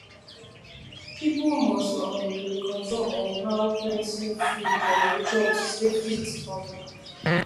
people must um dey control um how plenty food dem dey dey chop to stay fit um